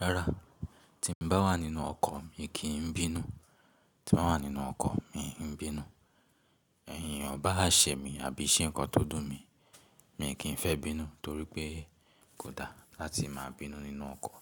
Rárá, tí n bá wà nínú ọkọ̀, mi kì n bínú. Tí n bá wà nínú ọkọ̀, mi kì ń bínú. Ẹ̀eyàn o bá ṣẹ mí àbí ṣe nǹkan tó dùn mí, mi n kí ń fẹ́ bínú torí pé kò da láti máa bínú nínú ọkọ̀.